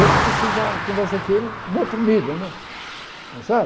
Esse você já conversa com ele em outro nível né está certo.